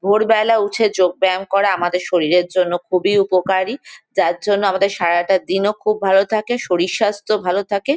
ভোরবেলা উঠে যোগ ব্যায়াম করা আমাদের শরীরের জন্য খুবই উপকারী। যার জন্য আমাদের সারাটা দিনও খুব ভালো থাকে। শরীর স্বাস্থ্য ভালো থাকে।